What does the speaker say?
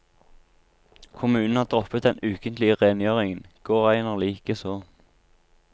Kommunen har droppet den ukentlige rengjøringen, gårdeierne like så.